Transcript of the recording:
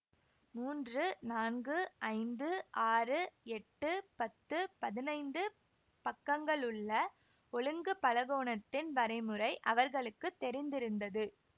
மூன்று நான்கு ஐந்து ஆறு எட்டு பத்து பதினைந்து பக்கங்களுள்ள ஒழுங்கு பலகோணத்தின் வரைமுறை அவர்களுக்கு தெரிந்திருந்தது